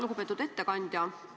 Lugupeetud ettekandja!